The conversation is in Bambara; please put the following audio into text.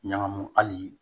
Ɲagamu hali